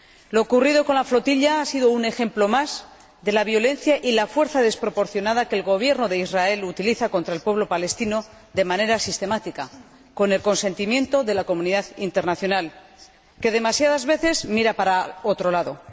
Lo ocurrido con la flotilla ha sido un ejemplo más de la violencia y de la fuerza desproporcionada que el Gobierno de Israel utiliza contra el pueblo palestino de manera sistemática, con el consentimiento de la comunidad internacional, que demasiadas veces mira para otro lado.